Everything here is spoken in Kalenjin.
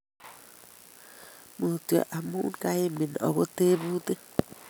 Mutyo amu kaimin ago tebutik